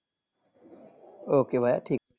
Okay ভাইয়া ঠিক আছে।